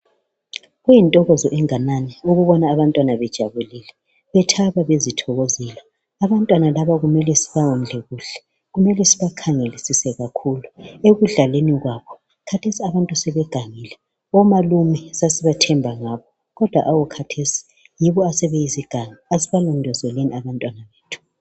Kuyintokozo enganani ukubona abantwana bejabulile bethaba bezithokozela Abantwana laba kumele sibawondle kuhle Kumele sibakhangelisise kakhulu ekudlaleni kwabo .Khathesi abantu sebegangile Omalume sasibathemba ngakho kodwa hawu khathesi yibo asebeyizigangi. Asibalondolozeni abantwabethu